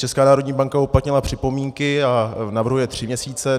Česká národní banka uplatnila připomínky a navrhuje tři měsíce.